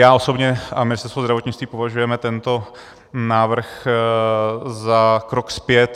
Já osobně a Ministerstvo zdravotnictví považujeme tento návrh za krok zpět.